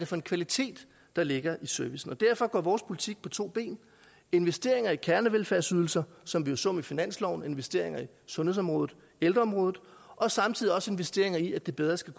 for en kvalitet der ligger i servicen og derfor går vores politik på to ben investeringer i kernevelfærdsydelser som vi jo så med finansloven med investeringer i sundhedsområdet og ældreområdet og samtidig også investeringer i at det bedre skal